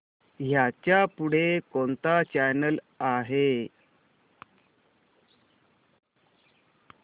ह्याच्या पुढे कोणता चॅनल आहे